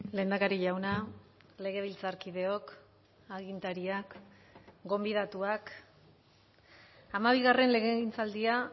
lehendakari jauna legebiltzarkideok agintariak gonbidatuak hamabi legegintzaldia